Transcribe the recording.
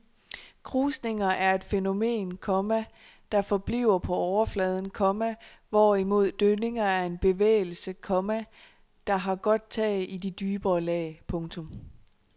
Krusninger er et fænomen, komma der forbliver på overfladen, komma hvorimod dønninger er en bevægelse, komma der har godt tag i de dybere lag. punktum